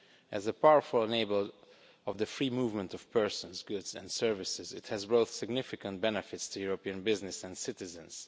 As a powerful enabler of the free movement of persons, goods and services, it has brought significant benefits to European businesses and citizens.